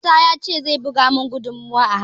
Isah ya ce zai buga mun guduma a hannun